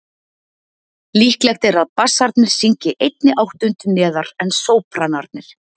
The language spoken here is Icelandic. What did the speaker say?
Líklegt er að bassarnir syngi einni áttund neðar en sópranarnir.